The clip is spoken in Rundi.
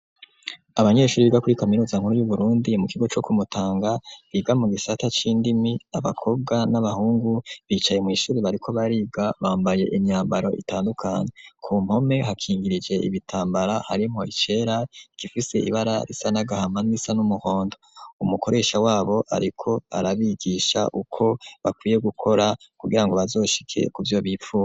Abanyeshuri biga muri kaminuza nkuru y'Uburundi, mu kigo co ku Mutanga, biga mu gisata c'indimi, abakobwa n' abahungu, bicaye mw'ishure bariko bariga. Bambaye imyambaro itandukanye. Ku mpome hakingirije ibitambara harimwo icera, igifise ibara risa n'agahama n'irisa n'umuhondo. Umukoresha wabo, ariko arabigisha ukwo bakwiye gukora kugirango bazoshike kuco bifuza.